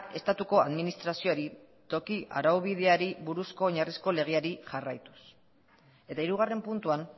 estatuko administrazioari toki arau bideari buruzko oinarrizko legeari jarraituz eta hirugarren puntuan